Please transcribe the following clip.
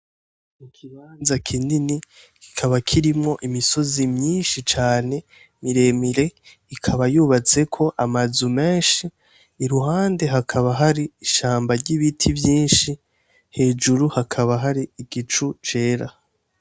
Mu kibanza kinini kikaba kirimwo imisozi myinshi cane miremire ikaba yubatseko amazu menshi i ruhande hakaba hari ishamba ry'ibiti vyinshi hejuru hakaba hari igicu cera.